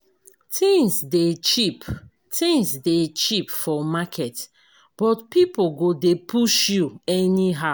Tins dey cheap Tins dey cheap for market but pipo go dey push you anyhow.